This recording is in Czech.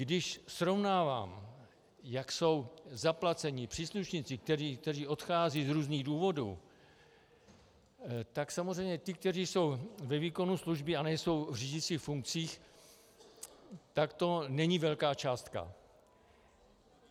Když srovnávám, jak jsou zaplaceni příslušníci, kteří odcházejí z různých důvodů, tak samozřejmě ti, kteří jsou ve výkonu služby a nejsou v řídicích funkcích, tak to není velká částka.